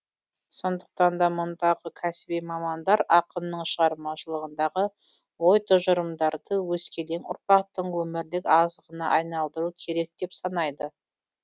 сондықтан да мұндағы кәсіби мамандар ақынның шығармашылығындағы ой тұжырымдарды өскелең ұрпақтың өмірлік азығына айналдыру керек деп санайды